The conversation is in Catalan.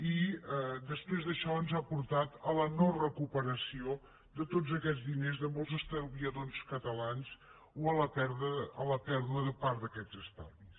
i després això ens ha portat a la no recuperació de tots aquests diners de molts estalviadors catalans o a la pèrdua de part d’aquests estalvis